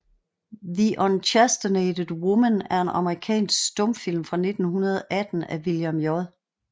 The Unchastened Woman er en amerikansk stumfilm fra 1918 af William J